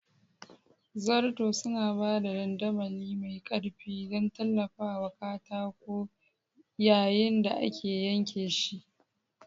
Zarto suna ba da dandamali mai ƙarfi don tallafawa katako yayin da ake yanke shi.